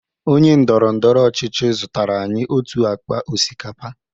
Onye ndọrọ ndọrọ ọchịchị zụtara anyị otu akpa osikapa.